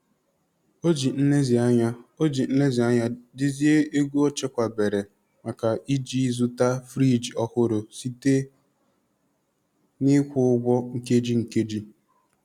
O ji nlezianya O ji nlezianya dezie ego o chekwabere maka iji zụta friji ọhụrụ site n'ịkwụ ụgwọ nkeji nkeji.